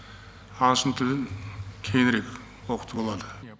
ағылшын тілін кеңірек оқытуға болады